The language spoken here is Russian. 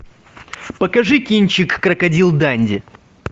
покажи кинчик крокодил данди